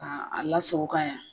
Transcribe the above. K' a la sago ka yan